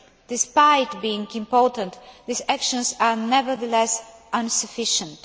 Despite being important, these actions are, nevertheless, insufficient.